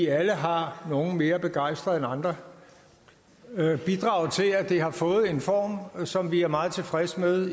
alle har nogle mere begejstret end andre bidraget til at det har fået en form som vi er meget tilfreds med